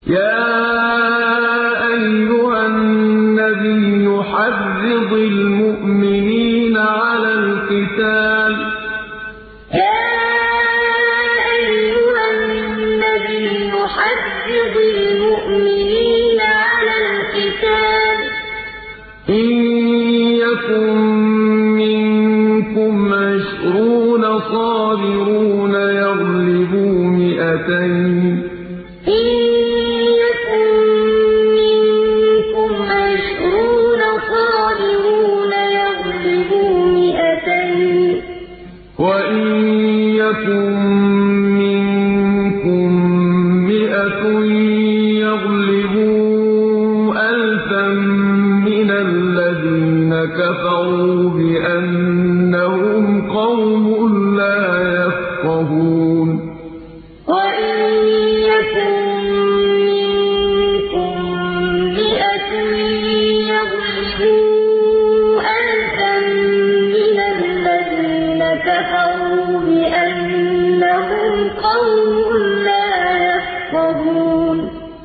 يَا أَيُّهَا النَّبِيُّ حَرِّضِ الْمُؤْمِنِينَ عَلَى الْقِتَالِ ۚ إِن يَكُن مِّنكُمْ عِشْرُونَ صَابِرُونَ يَغْلِبُوا مِائَتَيْنِ ۚ وَإِن يَكُن مِّنكُم مِّائَةٌ يَغْلِبُوا أَلْفًا مِّنَ الَّذِينَ كَفَرُوا بِأَنَّهُمْ قَوْمٌ لَّا يَفْقَهُونَ يَا أَيُّهَا النَّبِيُّ حَرِّضِ الْمُؤْمِنِينَ عَلَى الْقِتَالِ ۚ إِن يَكُن مِّنكُمْ عِشْرُونَ صَابِرُونَ يَغْلِبُوا مِائَتَيْنِ ۚ وَإِن يَكُن مِّنكُم مِّائَةٌ يَغْلِبُوا أَلْفًا مِّنَ الَّذِينَ كَفَرُوا بِأَنَّهُمْ قَوْمٌ لَّا يَفْقَهُونَ